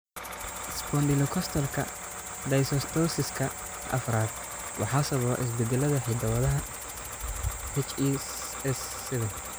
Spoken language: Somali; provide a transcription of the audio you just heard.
Spondylocostalka dysostosiska afraad waxaa sababa isbeddellada hidda-wadaha HES7.